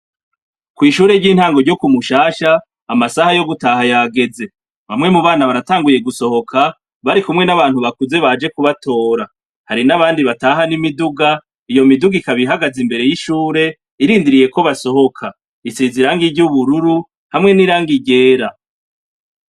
Kw'ishure ry'intango ryo ku mushasha, amasaha yo gutaha yageze bamwe mu bana baratanguye gusohoka, barikumwe n'bantu bakuze baje kubatora ,hari n'abandi bataha n'imiduga, iyo miduga ikaba ihagaze imbere y'ishure irindiriye ko basohoka isize irangi ry'ubururu hamwe n'irangi ryera.